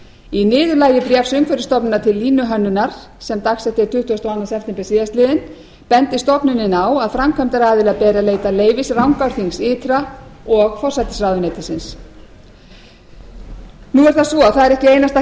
í niðurlagi bréfs umhverfisstofnunar til línuhönnunar sem dagsett er tuttugasti og annan september síðastliðinn bendir stofnunin á að framkvæmdaaðila beri að leita leyfis rangárþings ytra og forsætisráðuneytisins nú er það svo að það er ekki einungis